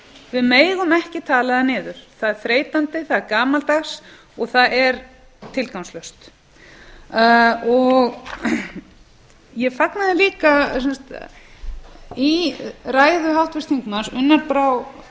við megum ekki tala það niður það er þreytandi það er gamaldags og það er tilgangslaust ég fagnaði því líka að í ræðu háttvirts þingmanns unnar brár